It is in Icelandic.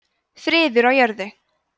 friður á jörðu